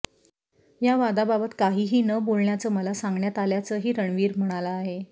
या वादाबाबत काहाही न बोलण्याचं मला सांगण्यात आल्याचंही रणवीर म्हणाला आहे